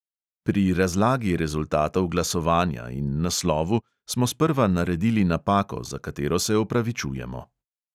Pri razlagi rezultatov glasovanja in naslovu smo sprva naredili napako, za katero se opravičujemo.